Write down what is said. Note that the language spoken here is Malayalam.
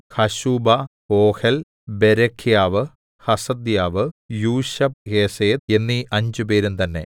ഹശൂബാ ഓഹെൽ ബേരെഖ്യാവ് ഹസദ്യാവ് യൂശബ്ഹേസെദ് എന്നീ അഞ്ചുപേരും തന്നെ